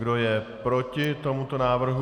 Kdo je proti tomuto návrhu?